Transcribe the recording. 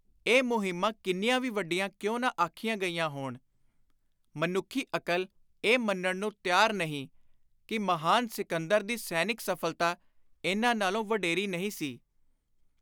ਇਹ ਮੁਹਿੰਮਾਂ ਕਿੰਨੀਆਂ ਵੀ ਵੱਡੀਆਂ ਕਿਉਂ ਨਾ ਆਖੀਆਂ ਗਈਆਂ ਹੋਣ, ਮਨੱਖੀ ਅਕਲ ਇਹ ਮੰਨਣ ਨੂੰ ਤਿਆਰ ਨਹੀਂ ਕਿ ਮਹਾਨ ਸਿਕੰਦਰ ਦੀ ਸੈਨਿਕ ਸਫਲਤਾ ਇਨ੍ਹਾਂ ਨਾਲੋਂ ਵਡੇਰੀ ਨਹੀਂ ਸੀ।